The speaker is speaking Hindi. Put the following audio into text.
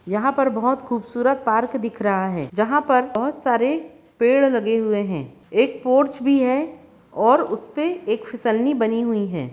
यहां पर बहोत खूबसूरत पार्क दिख रहा है जहां पर बहोत सारे पेड़ लगे हुए हैं एक पोर्च भी है और उस पे एक फिसलनी बनी हुई है।